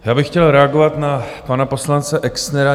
Já bych chtěl reagovat na pana poslance Exnera.